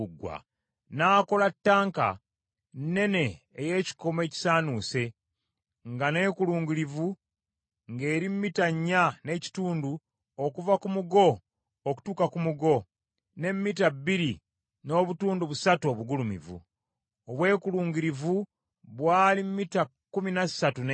N’akola ttanka ennene ey’ekikomo ekisaanuuse, nga neekulungirivu ng’eri mita nnya n’ekitundu okuva ku mugo okutuuka ku mugo, ne mita bbiri n’obutundu busatu obugulumivu. Obwekulungirivu bwali mita kkumi na ssatu n’ekitundu.